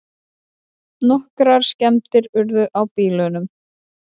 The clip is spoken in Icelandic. Nokkrar skemmdir urðu á bílunum